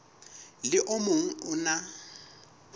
le o mong o na